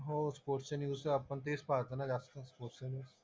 हो स्पोर्ट्सचे न्यूज तर आपण तेच पाहतो ना जास्त, स्पोर्ट्सचे न्यूज.